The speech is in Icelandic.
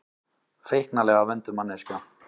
Feiknalega vönduð manneskja.